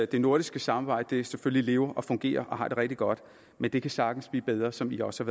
det nordiske samarbejde selvfølgelig lever fungerer og har det rigtig godt men det kan sagtens blive bedre som vi også